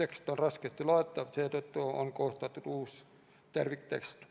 tekst on raskesti loetav, seetõttu on koostatud uus terviktekst.